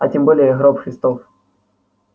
а тем более гроб христов